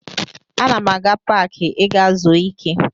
Ana m aga paakị ịga zuo ike